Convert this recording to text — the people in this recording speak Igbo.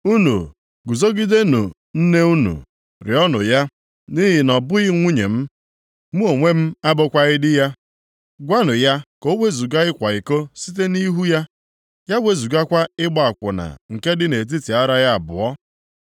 “Unu guzogidenụ nne unu, rịọọnụ ya, nʼihi na ọ bụghị nwunye m, mụ onwe m abụkwaghị di ya. Gwanụ ya ka o wezuga ịkwa iko site nʼihu ya, ya wezugakwa ịgba akwụna nke dị nʼetiti ara ya abụọ.